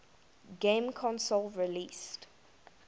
game console released